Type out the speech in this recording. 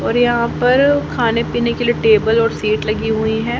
और यहां पर खाने पीने के लिए टेबल और सीट लगी हुई है।